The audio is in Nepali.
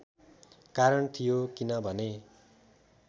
कारण थियो किनभने